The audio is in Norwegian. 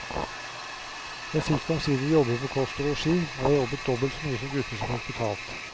Jeg fikk omsider jobbe for kost og losji, og jeg jobbet dobbelt så mye som gutter som fikk betalt.